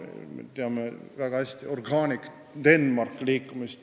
Me teame väga hästi Organic Denmarki liikumist.